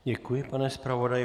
Děkuji, pane zpravodaji.